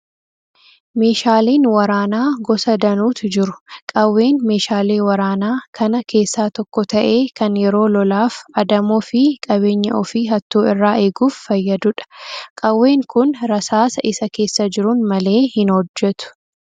Meeshaaleen waraanaa gosa danuutu jiru. Qawween meeshaalee waraanaa kana keessaa tokko ta'ee kan yeroo lolaaf, adamoo fi qabeenya ofii hattuu irraa eeguuf fayyadudha. Qawween kun rasaasa isa keessa jiruun malee hin hojjetu.